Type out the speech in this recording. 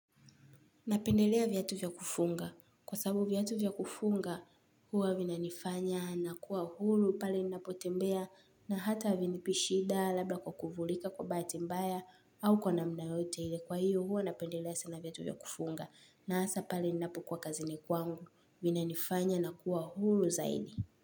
Napendelea vyatu vya kufunga. Kwa sabu vyatu vya kufunga huwa vinanifanya nakuwa hulu pali ninapotembea na hata vinipi shida labda kwa kuvulika kwa bahati mbaya au kwa namna yoyote hile kwa hiyo huwa napendelea sana vyatu vya kufunga na hasa pale ninapokuwa kazini kwangu. Vinanifanya nakuwa hulu zaidi.